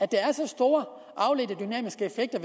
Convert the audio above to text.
der er så store